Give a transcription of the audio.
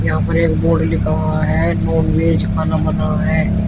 यहां पर एक बोर्ड लिखा हुआ है नॉनवेज खाना मना है।